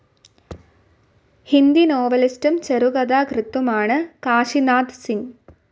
ഹിന്ദി നോവലിസ്റ്റും ചെറുകഥാകൃത്തുമാണ് കാശിനാഥ് സിങ്ങ്.